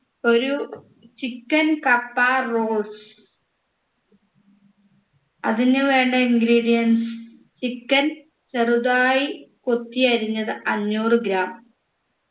ഒരു chicken kappa rolls അതിന് വേണ്ട ingredients chicken ചെറുതായി കൊത്തിയരിഞ്ഞത് അഞ്ഞൂറ് gram